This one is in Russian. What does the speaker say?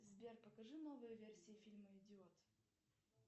сбер покажи новые версии фильма идиот